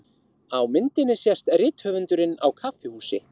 Á myndinni sést rithöfundurinn á kaffihúsi.